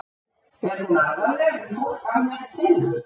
er hún alvarlegri en fólk almennt telur